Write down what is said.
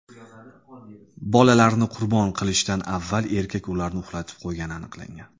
Bolalarini qurbon qilishdan avval erkak ularni uxlatib qo‘ygani aniqlangan.